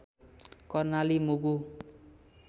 Karnali Mugu